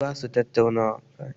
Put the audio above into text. Birai ba su tattaunawa kaman mutane